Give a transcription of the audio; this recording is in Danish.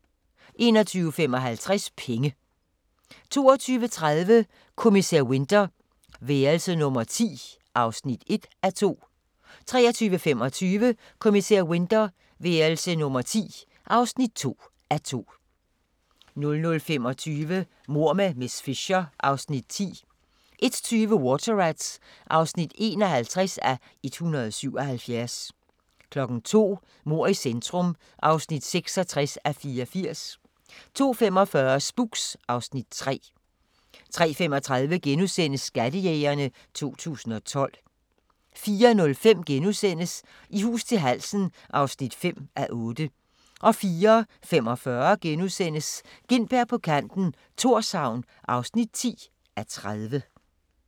21:55: Penge 22:30: Kommissær Winter: Værelse nummer 10 (1:2) 23:25: Kommissær Winter: Værelse nummer 10 (2:2) 00:25: Mord med miss Fisher (Afs. 10) 01:20: Water Rats (51:177) 02:00: Mord i centrum (66:84) 02:45: Spooks (Afs. 3) 03:35: Skattejægerne 2012 * 04:05: I hus til halsen (5:8)* 04:45: Gintberg på kanten - Thorshavn (10:30)*